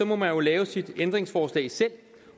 man jo lave sine ændringsforslag selv